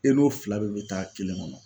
E n'o fila bɛɛ bɛ taa kelen ŋɔnɔ